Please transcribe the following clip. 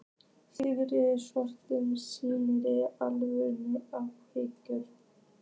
Sigríður svolgraði í sig vökvann af áfergju.